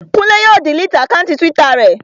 Kúnlé yóò diliti àkáùntì túwítà rẹ̀